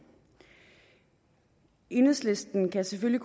enhedslisten kan selvfølgelig